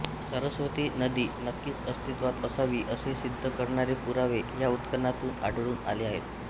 सरस्वती नदी नक्कीच अस्तित्वात असावी असे सिद्ध करणारे पुरावे या उत्खननातून आढळून आले आहेत